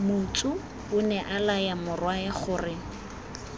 motsu onea laya morwae gore